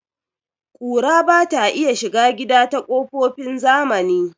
Ƙura bata iya shiga gida ta kokofin zamani